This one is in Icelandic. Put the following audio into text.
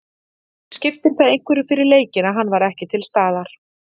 En skipti það einhverju fyrir leikinn að hann var ekki til staðar?